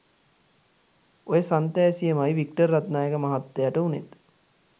ඔය සන්තෑසියමයි වික්ටර් රත්නායක මහත්තයට උනෙත්